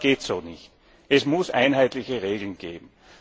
Das geht so nicht! Es muss einheitliche Regeln geben!